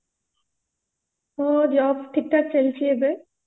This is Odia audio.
ମୋ job ଠିକ ଠାକ ଚାଲିଛି ଏବେ